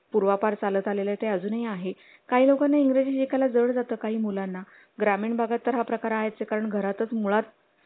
;पूर्वापार चालत आले आहे ते अजूनही आहे काही लोकांना इंग्रजी काळात काही मुलांना ग्रामीण भागात हा प्रकार आहेत कारण घरातच मुळात